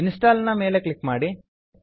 install ನ ಮೇಲೆ click ಮಾಡಿ